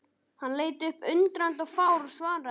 Hann leit upp undrandi og fár og svaraði ekki.